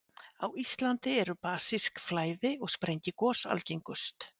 Á Íslandi eru basísk flæði- og sprengigos algengust.